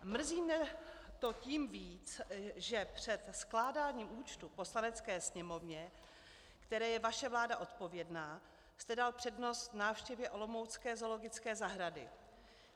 Mrzí mě to tím víc, že před skládáním účtů Poslanecké sněmovně, které je vaše vláda odpovědná, jste dal přednost návštěvě olomoucké zoologické zahrady.